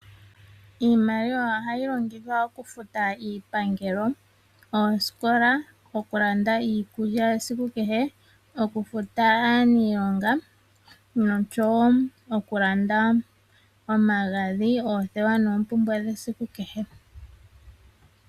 Iimaliwa ohayi longithwa okufuta iipangelo, oosikola, okulanda iikulya yasiku kehe, okufuta aaniilonga noshowo okulanda omagadhi, oothewa noompumbwe dhesiku kehe.